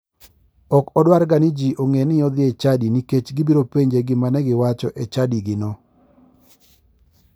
Ok odwarga ni ji ong'e ni odhi e chadi nikech gibiro penje gima ne giwacho e chadigino.